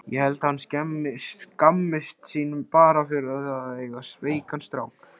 Ég held að hann skammist sín bara fyrir það að eiga veikan strák.